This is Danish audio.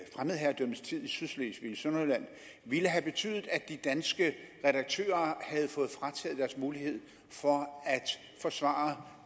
fremmedherredømmets tid i sydslesvig i sønderjylland ville have betydet at de danske redaktører havde fået frataget deres mulighed for at forsvare